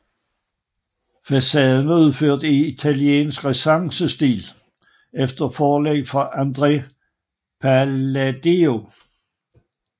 Facaden var udført i italiensk renæssancestil efter forlæg fra Andrea Palladio